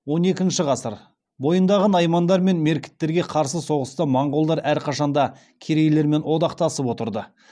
он екінші ғасыр бойындағы наймандар мен меркіттерге қарсы соғыста монғолдар әрқашанда керейлермен одақтасып отырды